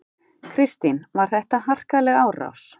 Kristín: Var þetta harkaleg árás?